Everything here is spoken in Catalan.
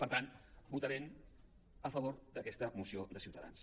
per tant votarem a favor d’aquesta moció de ciutadans